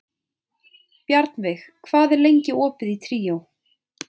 Bjarnveig, hvað er lengi opið í Tríó?